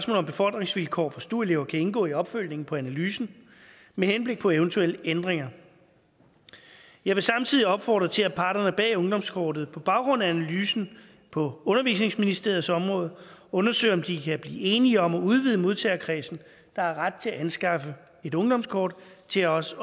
om befordringsvilkår for stu elever kan indgå i opfølgningen på analysen med henblik på eventuelle ændringer jeg vil samtidig opfordre til at parterne bag ungdomskortet på baggrund af analysen på undervisningsministeriets område undersøger om de kan blive enige om at udvide modtagerkredsen der har ret til at anskaffe et ungdomskort til også